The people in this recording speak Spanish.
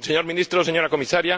Señor Ministro, señora Comisaria,